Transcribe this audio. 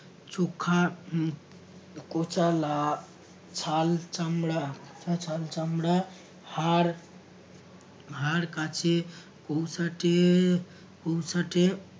সুখা উম কোচালা ছাল চামড়া ছা~ ছাল চামড়া হাড় হাড় কাছে কৌসাটে কৌসাটে